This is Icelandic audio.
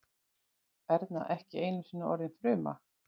Erna ekki einusinni orðin fruma.